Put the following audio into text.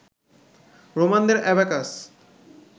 রোমানদের abacus